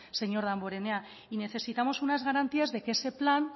señor damborenea y necesitamos unas garantías de que ese plan